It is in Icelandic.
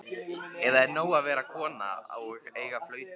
Eða er nóg að vera kona og eiga flautu?